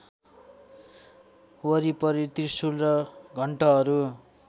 वरिपरि त्रिशुल र घण्टहरू